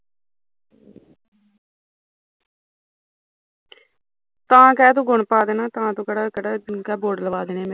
ਤਾਂ ਤੂੰ ਕਹਿ ਗੁਣ ਲਵਾਂ ਦਿੰਦਾ ਤਾਂ ਤੂੰ ਕਿਹੜਾ ਗੁੜ ਲਵਾਂ ਦੇਣੇ ਮੇਰੇ